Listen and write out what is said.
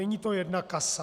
Není to jedna kasa.